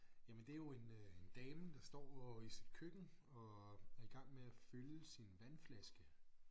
Jamen det jo en øh en dame der står i sit køkken og er i gang med at fylde sin vandflaske